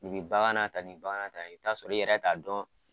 bagan na ka di ye i b'i t'a sɔrɔ i yɛrɛ t'a dɔn